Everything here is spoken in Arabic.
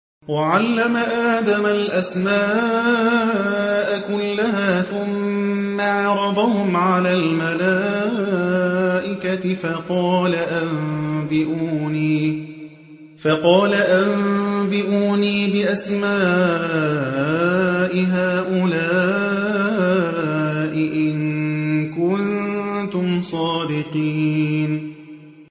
وَعَلَّمَ آدَمَ الْأَسْمَاءَ كُلَّهَا ثُمَّ عَرَضَهُمْ عَلَى الْمَلَائِكَةِ فَقَالَ أَنبِئُونِي بِأَسْمَاءِ هَٰؤُلَاءِ إِن كُنتُمْ صَادِقِينَ